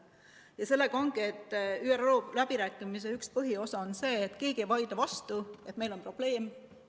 Ja sellega ongi nii, et ÜRO läbirääkimiste üks põhijoon on see, et keegi ei vaidle vastu, et meil on probleem.